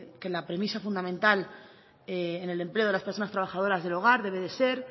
que la premisa fundamental en el empleo de las personas trabajadoras del hogar debe de ser